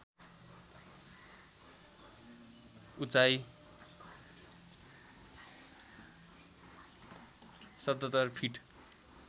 उचाइ ७७ फिट